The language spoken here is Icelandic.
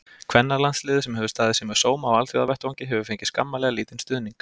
Kvennalandsliðið, sem hefur staðið sig með sóma á alþjóðavettvangi, hefur fengið skammarlega lítinn stuðning.